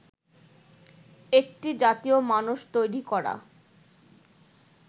একটি জাতীয় মানস তৈরি করা